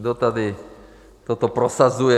Kdo tady toto prosazuje?